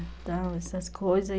Então, essas coisas.